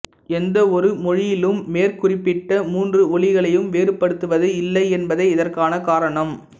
எந்த ஒரு மொழியிலும் மேற் குறிப்பிட்ட மூன்று ஒலிகளையும் வேறுபடுத்துவது இல்லை என்பதே இதற்கான காரணம்